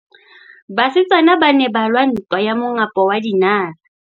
Basetsana ba ne ba lwa ntwa ya mongapo wa dinala.